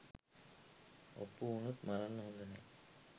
ඔප්පු උනොත් මරන්න හොඳ නෑ..